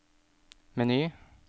meny